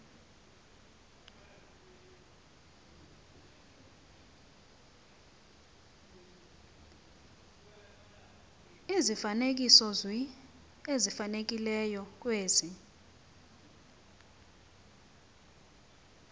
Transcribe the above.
izifanekisozwi ezifanelekileyo kwezi